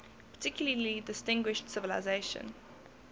particularly distinguished civilization